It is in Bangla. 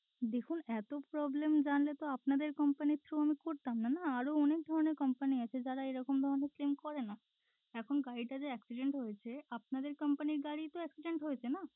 দেখুন এত problem জানলে তো আপনাদের company র through আমি করতামনা না? আরও অনেক ধরনের company আছে যারা এরকম ধরনের claim করে না এখন গাড়ি টা যে accident হয়েছে আপনাদের company র গাড়িই তো accident হয়েছে না?